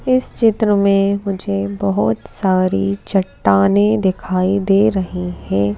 इस चित्र में मुझे बहुत सारी चट्टाने दिखाई दे रही हैं।